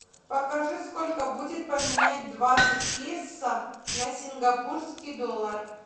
покажи сколько будет поменять двадцать песо на сингапурский доллар